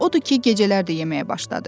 Odur ki, gecələr də yeməyə başladı.